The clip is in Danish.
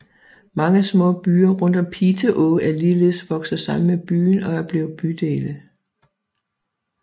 Mange små byer rundt om Piteå er ligeledes vokset sammen med byen og er blevet bydele